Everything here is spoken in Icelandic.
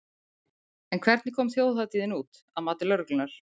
En hvernig kom þjóðhátíðin út, að mati lögreglunnar?